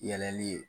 Yɛlɛli ye